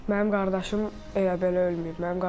Mənim qardaşım elə belə ölməyib.